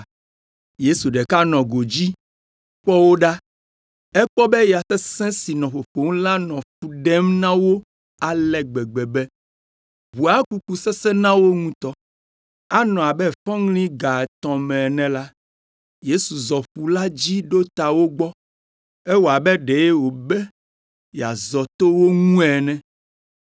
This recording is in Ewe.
Yesu ɖeka nɔ godzi kpɔ wo ɖa. Ekpɔ be ya sesẽ si nɔ ƒoƒom la nɔ fu ɖem na wo ale gbegbe be ʋua kuku sesẽ na wo ŋutɔ. Anɔ abe fɔŋli ga etɔ̃ me ene la, Yesu zɔ ƒu la dzi ɖo ta wo gbɔ. Ewɔ abe ɖe wòbe yeazɔ to wo ŋu ene,